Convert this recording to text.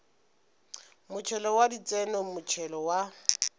motšhelo wa ditseno motšhelo wa